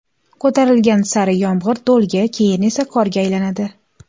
ko‘tarilgan sari yomg‘ir do‘lga, keyin esa qorga aylanadi.